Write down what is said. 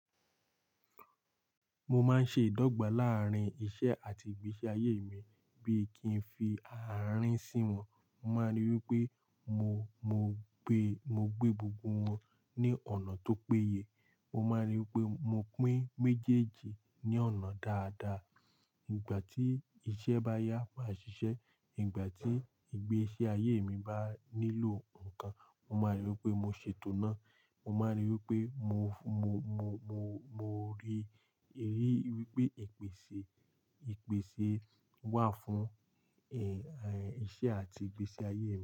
Mo máa ń ṣe ìdọ́gba láàárín iṣẹ́ àti ìgbésí ayé mi, bí kí n fi àárín sí wọn. Mo máa ń rí i wí pé mo, mo gbé, mo gbé gbogbo wọn ní ọ̀nà tó péye. Mo máa ń rí i wí pé mo pín méjèèjì ní ọ̀nà dáadáa. Nígbà tí iṣẹ́ bá yá, màá ṣiṣẹ́. Nígbà tí ìgbésí ayé mi bá nílò ǹkan, mo máa ń rí i wí pé mo ṣètò náà. Mo máa ń rí i wí pé mo, mo, mo, mo, mo rí, rí i wí pé ìpèsè, ìpèsè wà fún, eh, eh, iṣẹ́ àti ìgbésí ayé rẹ.